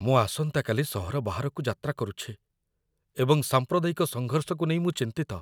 ମୁଁ ଆସନ୍ତାକାଲି ସହର ବାହାରକୁ ଯାତ୍ରା କରୁଛି ଏବଂ ସାମ୍ପ୍ରଦାୟିକ ସଂଘର୍ଷକୁ ନେଇ ମୁଁ ଚିନ୍ତିତ।